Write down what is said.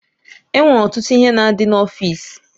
E nwere ọtụtụ ihe na-adị n'ọfiisi.